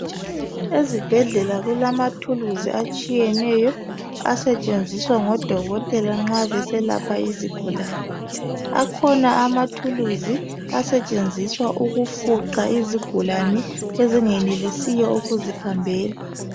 Ezibhedlela kulamathuluzi atshiyeneyo asetshenziswa ngodokotela nxa beselapha izigulane akhona amathuluzi asetshenziswa ukufuqa izigulane ezingenelisiyo ukuzihambela.